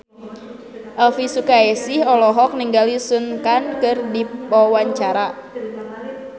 Elvy Sukaesih olohok ningali Sun Kang keur diwawancara